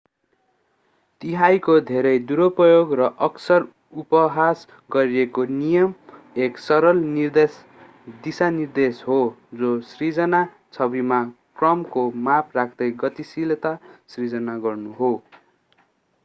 तिहाइको धेरै-दुरुपयोग र अक्सर-उपहास गरिएको नियम एक सरल दिशानिर्देश हो जो सिर्जना छविमा क्रमको माप राख्दै गतिशीलता सृजना गर्नु हो